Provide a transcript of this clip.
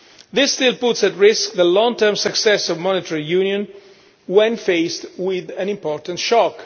This still puts at risk the long term success of monetary union when faced with an important shock.